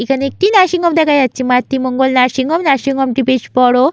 এখানে একটি nursing home দেখা যাচ্ছে Matri Mangal nursing home nursing home -টি বেশ বড়ো।